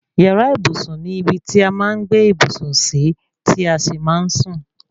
Yàrá ìbùsùn ni ibi tí a máa ń gbé ìbùsùn sí tí a sì máa ń sún